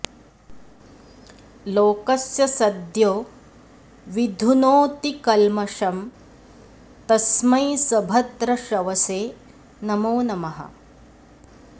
लोकस्य सद्यो विधुनोति कल्मषं तस्मै सभद्रश्रवसे नमो नमः